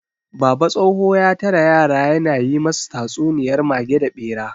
Baba tsoho ya tara yara ya na yi masu tatsuniyar mage da ɓera.